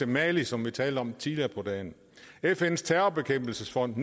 mali som vi talte om tidligere på dagen fns terrorbekæmpelsesfond